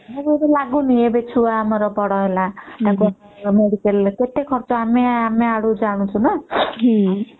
ଆମକୁ ଏବେ ଲାଗୁନି ଆମ ଛୁଆ ଏବେ ବଡ ହେଲା ତାଙ୍କ ପଢା ରେ ତାଙ୍କ ମେଡିକାଲ ରେ କେତେ ଖରଚ ହେଲା ଆମେ ଆଣୁଛୁ ଆଉ ଜାଣୁଛୁ ନା